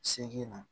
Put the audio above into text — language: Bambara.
Segin na